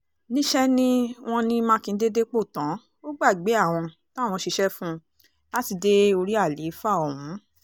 níṣẹ́ ni wọ́n ní mákindé dépò tán ó gbàgbé àwọn táwọn ṣiṣẹ́ fún un láti dé orí àlééfà ọ̀hún